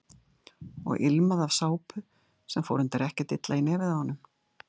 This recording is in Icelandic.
Og ilmaði af sápu sem fór reyndar ekkert illa í nefið á honum.